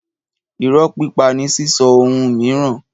Ìrọ́ pípa ni sísọ ohun miiran